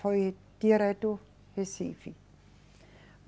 Foi direto Recife.